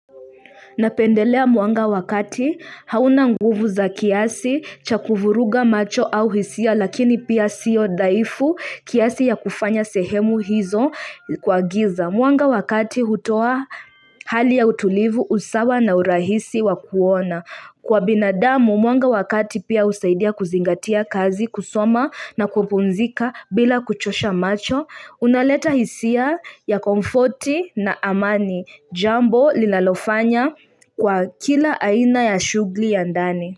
Napendelea mwanga wakati hauna nguvu za kiasi cha kuvuruga macho au hisia lakini pia siyo dhaifu kiasi ya kufanya sehemu hizo kwa giza. Mwanga wa kati hutoa hali ya utulivu usawa na urahisi wa kuona. Kwa binadamu mwanga wa kati pia husaidia kuzingatia kazi, kusoma na kupumzika bila kuchosha macho. Unaleta hisia ya komfoti na amani, jambo linalofanya kwa kila aina ya shughuli ya ndani.